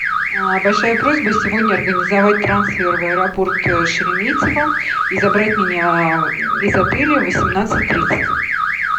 большая просьба сегодня организовать трансфер в аэропорт шереметьево и забрать меня из отеля в восемнадцать тридцать